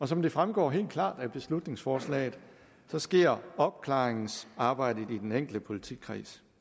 som det fremgår helt klart af beslutningsforslaget sker opklaringsarbejdet i den enkelte politikreds